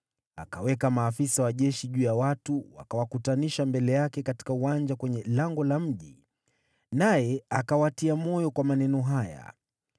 Akaweka maafisa wa jeshi juu ya watu, wakawakutanisha mbele yake katika uwanja kwenye lango la mji, naye akawatia moyo kwa maneno haya: